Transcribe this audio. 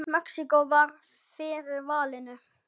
Mexíkó varð fyrir valinu.